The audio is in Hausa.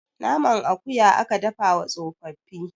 naman akuya aka dafa wa tsofaffi